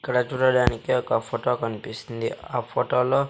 ఇక్కడ చూడటానికి ఒక ఫోటో కనిపిస్తుంది ఆ ఫోటోలో .